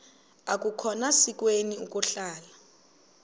akukhona sikweni ukuhlala